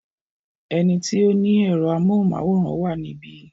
Ẹni tí ó ni ẹ̀rọ amóhùmáwòhán wà níbí.